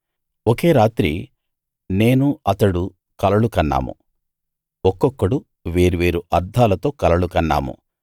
ఒకే రాత్రి నేనూ అతడు కలలు కన్నాము ఒక్కొక్కడు వేర్వేరు అర్థాలతో కలలు కన్నాము